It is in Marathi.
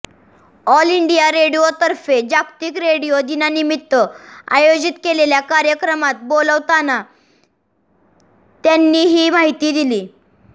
ऑल इंडिया रेडिओतर्फे जागतिक रेडिओ दिनानिमित्त आयोजित केलेल्या कार्यक्रमात बोलताना त्यांनी ही माहिती दिली